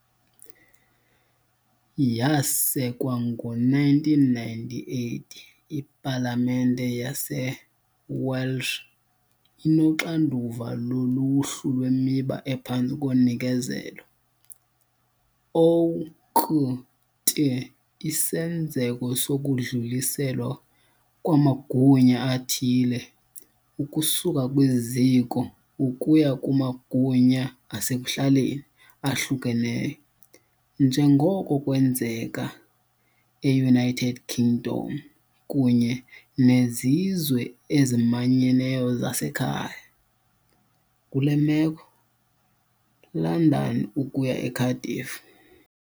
Yasekwa ngo-1998, iPalamente yaseWelsh inoxanduva loluhlu lwemiba ephantsi konikezelo, o.k.t. isenzeko sokudluliselwa kwamagunya athile ukusuka kwiziko ukuya kumagunya asekuhlaleni ahlukeneyo, njengoko kwenzeka eUnited Kingdom kunye "neZizwe eziManyeneyo zaseKhaya", kule meko London ukuya eCardiff.